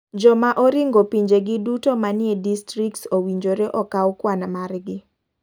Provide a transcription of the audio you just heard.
Joma oringo pinje gi duto manie distrikts owinjore okaw kwan mar gi.